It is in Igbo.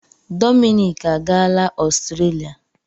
Dominic agaala Ọstrelia.